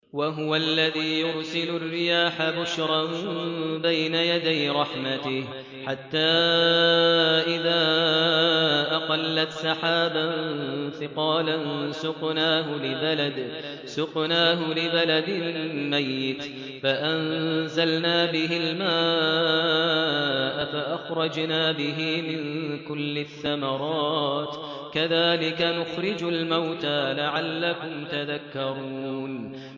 وَهُوَ الَّذِي يُرْسِلُ الرِّيَاحَ بُشْرًا بَيْنَ يَدَيْ رَحْمَتِهِ ۖ حَتَّىٰ إِذَا أَقَلَّتْ سَحَابًا ثِقَالًا سُقْنَاهُ لِبَلَدٍ مَّيِّتٍ فَأَنزَلْنَا بِهِ الْمَاءَ فَأَخْرَجْنَا بِهِ مِن كُلِّ الثَّمَرَاتِ ۚ كَذَٰلِكَ نُخْرِجُ الْمَوْتَىٰ لَعَلَّكُمْ تَذَكَّرُونَ